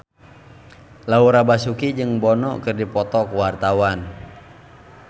Laura Basuki jeung Bono keur dipoto ku wartawan